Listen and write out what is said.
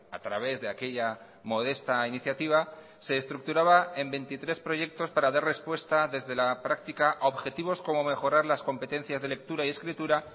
a través de aquella modesta iniciativa se estructuraba en veintitrés proyectos para dar respuesta desde la práctica a objetivos como mejorar las competencias de lectura y escritura